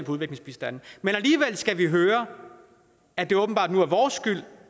udviklingsbistanden men alligevel skal vi høre at det åbenbart nu er vores skyld